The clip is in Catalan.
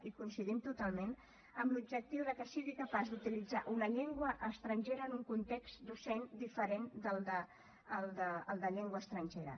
i coincidim totalment amb l’objectiu de que sigui capaç d’utilitzar una llengua estrangera en un context docent diferent del de llengua estrangera